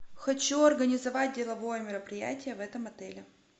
хочу организовать деловое мероприятие в этом отеле